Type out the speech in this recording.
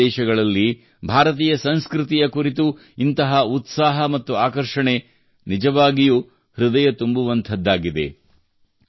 ಇತರ ದೇಶಗಳಲ್ಲಿ ಭಾರತೀಯ ಸಂಸ್ಕೃತಿಯ ಕುರಿತು ಇಂತಹ ಉತ್ಸಾಹ ಮತ್ತು ಆಕರ್ಷಣೆ ನಿಜವಾಗಿಯೂ ಹೃದಯ ತುಂಬುವಂತದ್ದಾಗಿದೆ